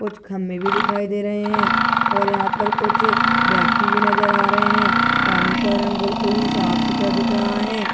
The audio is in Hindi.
कुछ खंभे भी दिखाई दे रहे हैं और यहां पर कुछ व्यक्ति भी नजर आ रहे हैं पानी का रंग बिल्कुल ही साफ सुथरा दिख रहा हैं।